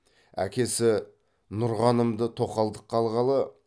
әкесі нұрғанымды тоқалдыққа алғалы